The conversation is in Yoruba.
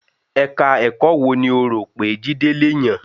Ẹka ẹ̀kọ́ wo ni ó rò pé Jídé le yàn?